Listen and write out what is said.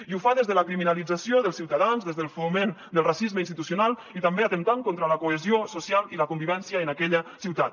i ho fa des de la criminalització dels ciutadans des del foment del racisme institucio nal i també atemptant contra la cohesió social i la convivència en aquella ciutat